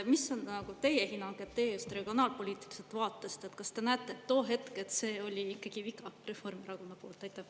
Mis on teie hinnang, teie just regionaalpoliitiliselt vaatest, kas te näete, et too hetk see oli ikkagi viga Reformierakonna poolt?